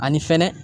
Ani fɛnɛ